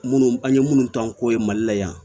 Minnu an ye minnu tɔn ko ye mali la yan